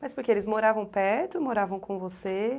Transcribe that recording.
Mas porque eles moravam perto, moravam com você?